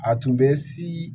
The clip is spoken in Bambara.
A tun bɛ si